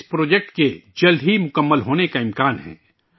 اس project کے جلد ہی پورا ہونے کا امکان ہے